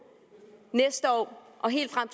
næste år og helt frem